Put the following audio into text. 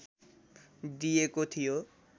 दिेएको थियो